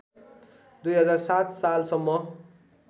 २००७ साल सम्म